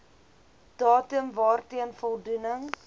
datum waarteen voldoening